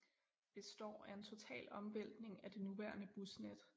Består af en total omvæltning af det nuværende busnet